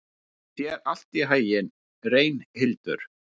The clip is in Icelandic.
Gangi þér allt í haginn, Reynhildur.